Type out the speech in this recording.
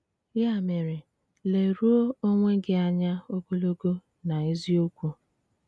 Ya mere, leruo onwe gị anya ogologo na eziokwu.